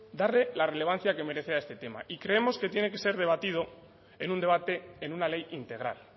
darle la relevancia que merece a este tema y creemos que tiene que ser debatido en un debate en una ley integral